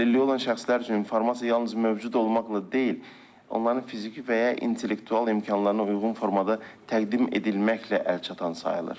Əlilliyi olan şəxslər üçün informasiya yalnız mövcud olmaqla deyil, onların fiziki və ya intellektual imkanlarına uyğun formada təqdim edilməklə əlçatan sayılır.